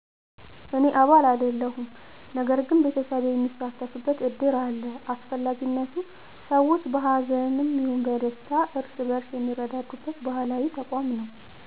እኔ አባል አይደለሁም ነገር ግን ቤተሰቤ የሚሳተፍበት እድር አለ አስፈላጊነቱ ሰዎች በሀዘንም ይሁን በደስታ እርስ በእርስ የሚረዳዱበት ባህላዊ ተቋም ነው።